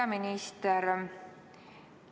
Hea minister!